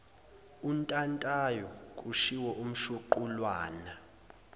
untantayo kushiwo umshuqulwana